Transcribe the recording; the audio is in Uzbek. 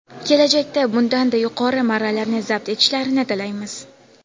kelajakda bundanda yuqori marralarni zabt etishlarini tilaymiz!.